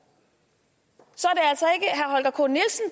så